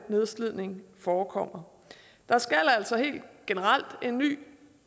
nedslidning forekommer der skal altså helt generelt en ny